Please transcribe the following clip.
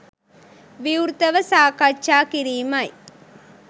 විවෘතව සාකච්ඡා කිරීමයි